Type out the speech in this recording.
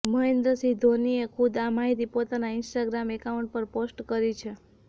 મહેન્દ્રસિંહ ધોનીએ ખુદ આ માહિતી પોતાના ઇન્સ્ટાગ્રામ એકાઉન્ટ પર પોસ્ટ કરી છે